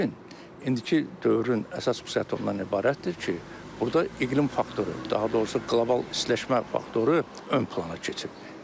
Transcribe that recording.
Lakin indiki dövrün əsas xüsusiyyəti ondan ibarətdir ki, burda iqlim faktoru, daha doğrusu qlobal istiləşmə faktoru ön plana keçib.